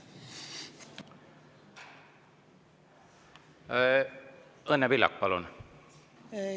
Õnne Pillak, palun!